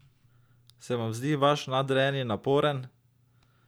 Se vam zdi vaš nadrejeni naporen?